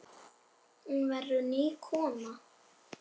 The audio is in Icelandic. Hún verður ný kona.